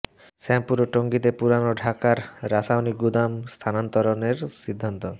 শ্যামপুর ও টঙ্গীতে পুরান ঢাকার রাসায়নিক গুদাম স্থানান্তরের সিদ্ধান্ত